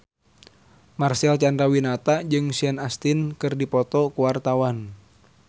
Marcel Chandrawinata jeung Sean Astin keur dipoto ku wartawan